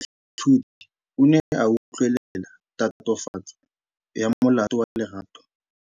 Moatlhodi o ne a utlwelela tatofatsô ya molato wa Lerato.